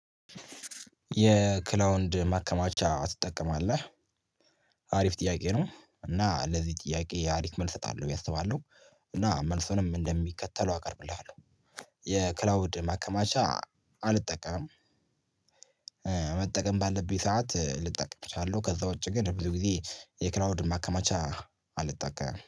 የክላውድ ማከማቻ ትጠቀማለህ? አሪፍ ጥያቄ ነው እና ለዚህ ጥያቄ አሪፍ መልስ እሰጣለሁ እሰጣለሁ ብዬ አስባለሁ እና መልሱንም እንደሚከተለው አቀርብልሃለሁ። የክላውድ ማከማቻ አልጠቀምም መጠቀም ባለብኝ ሰዓት ልጠቀም እችላለሁ። ከዚያ ውጭ ግን ብዙ ጊዜ የክላውድ ማከማቻ አልጠቀምም